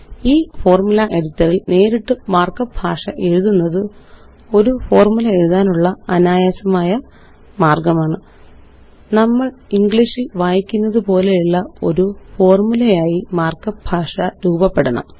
ഈFormula editor ല് നേരിട്ട് markup ഭാഷയെഴുതുന്നത് ഒരു ഫോര്മുലയെഴുതാനുള്ള അനായാസമായ മാര്ഗ്ഗമാണ് നമ്മള് ഇംഗ്ലീഷില് വായിക്കുന്നതുപോലെയുള്ള ഒരു ഫോര്മുലയായി മാര്ക്കപ്പ് ഭാഷ രൂപപ്പെടണം